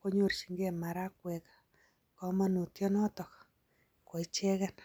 konyorchinkei marakwek, komonutyonotok. Koicheget.